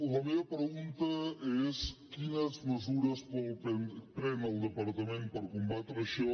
la meva pregunta és quines mesures pren el departament per combatre això